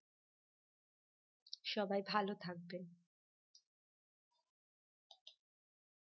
সবাই ভাল থাকবেন